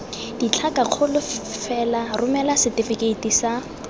ditlhakakgolo fela romela setefikeiti sa